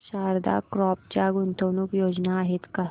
Sharda crop च्या गुंतवणूक योजना आहेत का